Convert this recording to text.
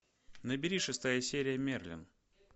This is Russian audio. набери шестая серия мерлин